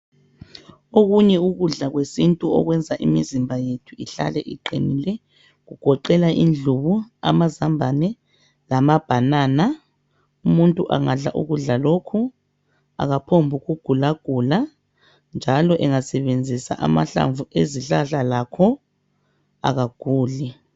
Okunye ukudla kwesintu okwenza imizimba yethu ihlale iqinile .Kugoqela indlubu ,amazambane lamabanana .Umuntu angadla ukudla lokhu akaphombuku gula gula njalo engasebenzisa amahlamvu ezihlahla lakho akaguli .